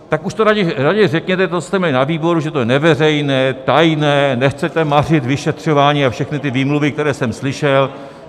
Tak už to raději řekněte, co jste měli na výboru, že to je neveřejné, tajné, nechcete mařit vyšetřování, a všechny ty výmluvy, které jsem slyšel.